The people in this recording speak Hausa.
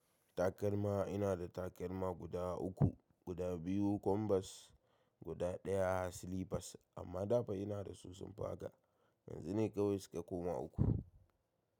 Takalma ina da takalma guda uku, guda biyu kwambas, guda daya silipas amma dafa ina da su sun fi haka yanzu ne kawai suka koma uku.